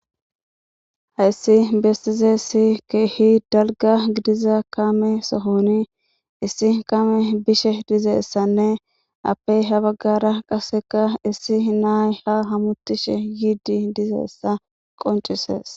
Hayssi bessiza issi keehi dalgga gidiza kame sohoni issi kame bishe diza issanne appey ha baggara qasseka issi naay ha hametishe yiidi diza issa qoncises.